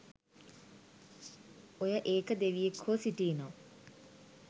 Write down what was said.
ඔය ඒක දෙවියෙක් හෝ සිටිනම්